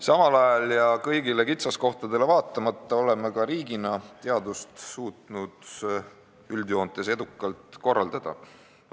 Samal ajal ja kõigile kitsaskohtadele vaatamata oleme ka riigina suutnud teadust üldjoontes edukalt korraldada.